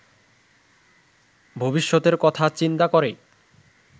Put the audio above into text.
ভবিষ্যতের কথা চিন্তা করে